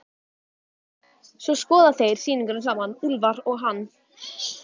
Svo skoða þeir sýninguna saman, Úlfar og hann.